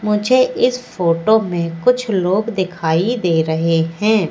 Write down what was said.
मुझे इस फोटो में कुछ लोग दिखाई दे रहे हैं।